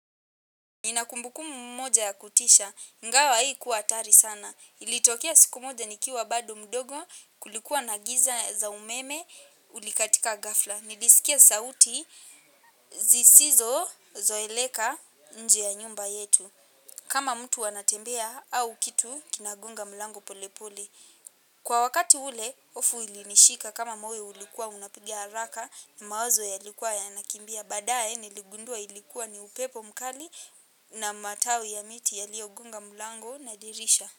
Nina kumbukumbu moja ya kutisha ingawa haikuwa hatari sana. Ilitokea siku moja nikiwa bado mdogo kulikuwa na giza za umeme ulikatika ghafla. Nilisikia sauti zisizo zoeleka nje ya nyumba yetu. Kama mtu anatembea au kitu kinagonga mlango polepole. Kwa wakati ule hofu ilinishika kama moyo ulikuwa unapigia haraka na mawazo yalikuwa yanakimbia baadaye niligundua ilikuwa ni upepo mkali na matawi ya miti yaliyogonga mlango na dirisha.